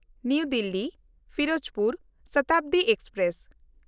ᱱᱟᱣᱟ ᱫᱤᱞᱞᱤ–ᱯᱷᱤᱨᱳᱡᱽᱯᱩᱨ ᱥᱚᱛᱟᱵᱫᱤ ᱮᱠᱥᱯᱨᱮᱥ